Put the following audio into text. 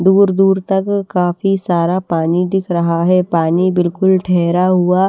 दूर दूर तक काफी सारा पानी दिख रहा है पानी बिलकुल ठहरा हुआ --